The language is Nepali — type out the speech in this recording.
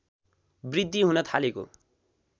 वृद्धि हुन थालेको